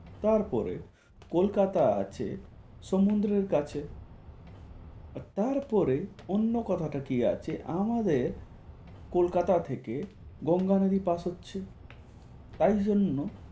তারপরে, কলকাতা আছে সমুদ্রের কাছে তারপরে অন্য কথাটা কি আছে আমাদের কলকাতা থেকে গঙ্গা নদী পাশ হচ্ছে তাই জন্য